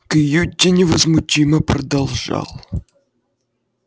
кьюти невозмутимо продолжал